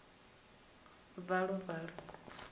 a vhonale a na valuvalu